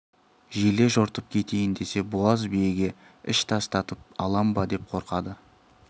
желе жортып кетейін десе буаз биеге іш тастатып алам ба деп қорқады